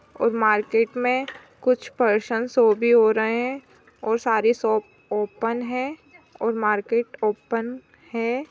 और मार्केट मे कुच हो रहे है और सारे शॉप ओपन है और मार्केट ओपन है।